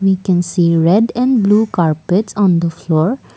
i can see red and blue carpets on the floor.